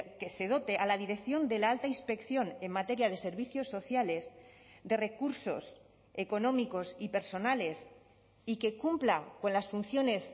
que se dote a la dirección de la alta inspección en materia de servicios sociales de recursos económicos y personales y que cumpla con las funciones